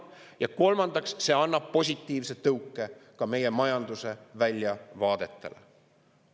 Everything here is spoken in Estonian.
Ja kolmandaks, see annab positiivse tõuke meie majanduse väljavaadetele.